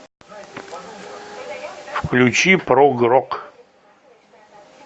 включи прог рок